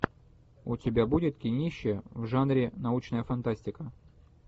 у тебя будет кинище в жанре научная фантастика